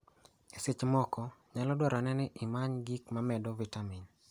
E seche moko, nyalo dwarore ni imany gik mamedo vitamin.